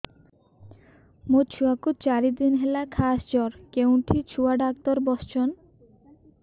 ମୋ ଛୁଆ କୁ ଚାରି ଦିନ ହେଲା ଖାସ ଜର କେଉଁଠି ଛୁଆ ଡାକ୍ତର ଵସ୍ଛନ୍